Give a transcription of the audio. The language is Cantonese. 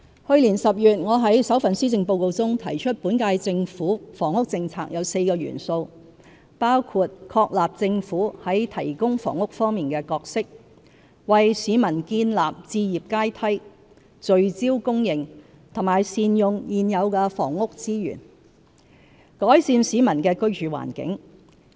去年10月，我在首份施政報告中提出本屆政府房屋政策有4個元素，包括確立政府在提供房屋方面的角色、為市民建立置業階梯、聚焦供應和善用現有房屋資源，改善市民的居住環境。